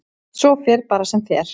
Svo fer bara sem fer.